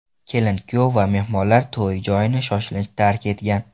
Kelin-kuyov va mehmonlar to‘y joyini shoshilinch tark etgan.